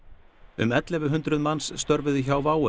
um ellefu hundruð manns störfuðu hjá WOW